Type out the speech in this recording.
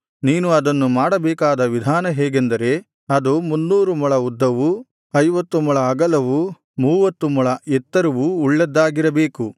ನೀನು ಅದನ್ನು ಮಾಡಬೇಕಾದ ವಿಧಾನ ಹೇಗೆಂದರೆ ಅದು ಮುನ್ನೂರು ಮೊಳ ಉದ್ದವೂ ಐವತ್ತು ಮೊಳ ಅಗಲವೂ ಮೂವತ್ತು ಮೊಳ ಎತ್ತರವೂ ಉಳ್ಳದ್ದಾಗಿರಬೇಕು